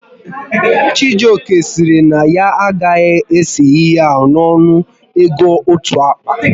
Chijioke sịrị na ya agaghị ese ihe ahụ n'ọnụ ego otu akpa